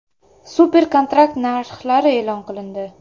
Super-kontrakt narxlari e’lon qilindi.